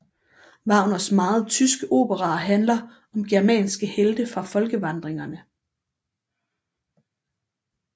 Wagners meget tyske operaer handler om germanske helte fra folkevandringerne